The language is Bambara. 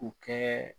U kɛ